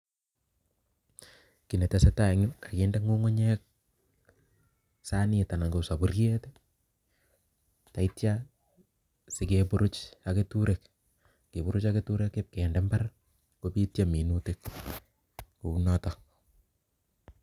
Kiy netesatai eng yu kakinde kukunyek sanit ana ko safuriet taitya sikeburuch ak keturek keburuch ak keturek ibkende mbar kobityo minutik kou notok.